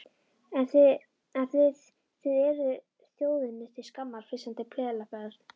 En þið þið eruð þjóðinni til skammar, flissandi pelabörn.